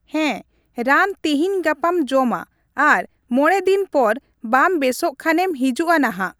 ᱦᱮᱸ ᱨᱟᱱ ᱛᱤᱦᱤᱧᱼᱜᱟᱯᱟᱢ ᱡᱚᱢᱟ ᱟᱨ ᱢᱚᱬᱮ ᱫᱤᱱ ᱯᱚᱨ ᱵᱟᱢ ᱵᱮᱥᱚᱜ ᱠᱷᱟᱱᱮᱢ ᱦᱤᱡᱩᱜᱼᱟ ᱱᱟᱦᱟᱜ ᱾